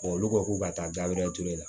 olu ko k'u ka taa ture la